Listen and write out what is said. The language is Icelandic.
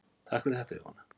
Takk fyrir þetta Jóhanna.